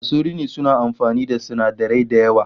Masu rini suna amfani da sinadarai da yawa